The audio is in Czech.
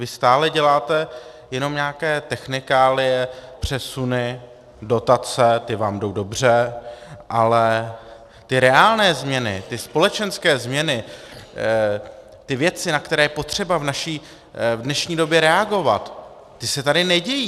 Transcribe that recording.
Vy stále děláte jenom nějaké technikálie, přesuny, dotace, ty vám jdou dobře, ale ty reálné změny, ty společenské změny, ty věci, na které je potřeba v dnešní době reagovat, ty se tady nedějí.